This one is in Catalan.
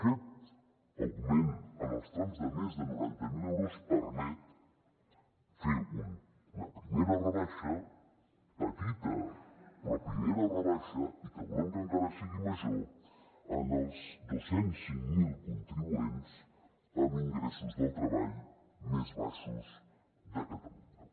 aquest augment en els trams de més de noranta miler euros permet fer una primera rebaixa petita però primera rebaixa i que volem que encara sigui major en els dos cents i cinc mil contribuents amb ingressos del treball més baixos de catalunya